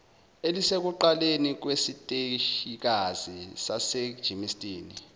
elisekuqaleni kwesiteshikazi sasegermiston